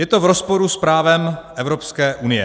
Je to v rozporu s právem Evropské unie.